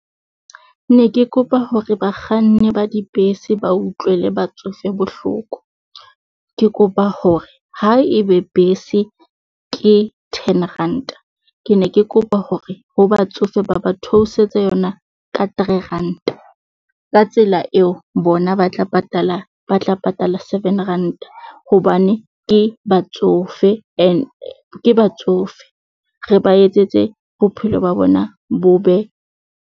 Ne ke kopa hore bakganni ba dibese, ba utlwele batsofe bohloko. Ke kopa hore ha e be bese ke ten ranta. Ke ne ke kopa hore ho batsofe ba ba theosetse yona ka three ranta. Ka tsela eo, bona ba tla patala, ba tla patala seven ranta, hobane ke batsofe and ke batsofe, re ba etsetse bophelo ba bona bo be.